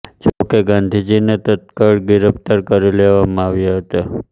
જો કે ગાંધીજીને તત્કાળ ગિરફ઼્તાર કરી લેવામાં આવ્યા હતા